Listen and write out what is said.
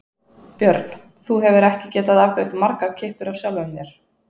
Björn: Þú hefur ekki getað afgreitt margar kippur af sjálfum þér?